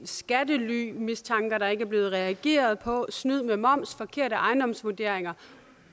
skattelymistanker der ikke er blevet reageret på snyd med moms forkerte ejendomsvurderinger